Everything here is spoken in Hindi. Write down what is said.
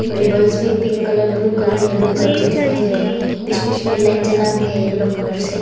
रिबन्स में pink colour blue colour yellow colour में दिखाई दे रहा है बीच बीच में लाइट जला के है येलो कलर से।